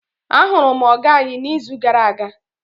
ahuru m oga anyi n'izu gara aga